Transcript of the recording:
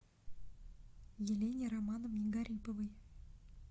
елене романовне гариповой